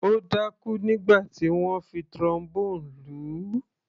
Ó dákú nígbà tí wọ́n fi Trombone lù ú.